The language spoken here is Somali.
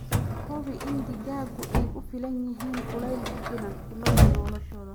Hubi in digaaggu ay ku filan yihiin kulayl ku filan bilowga noloshooda.